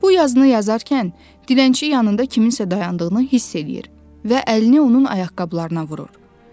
Bu yazını yazarkən dilənçi yanında kiminsə dayandığını hiss eləyir və əlini onun ayaqqabılarına vurur.